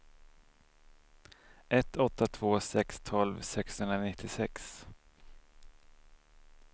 ett åtta två sex tolv sexhundranittiosex